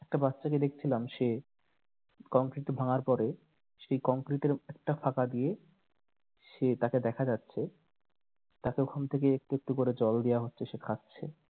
একটা বাচ্চাকে দেখছিলাম সে কংক্রিট ভাঙার পরে সেই কংক্রিটের একটা ফাঁকা দিয়ে সে তাকে দেখা যাচ্ছে এতক্ষন থেকে একটু একটু করে জল দেওয়া হচ্ছে সে খাচ্ছে